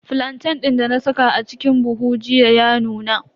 Flantain din dana saka a cikin buhu jiya ya nuna.